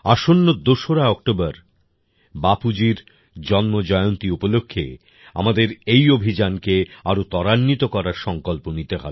আসন্ন ২রা অক্টোবর বাপুজীর জন্ম জয়ন্তী উপলক্ষে আমাদের এই অভিযান কে আরও ত্বরান্বিত করার সংকল্প নিতে হবে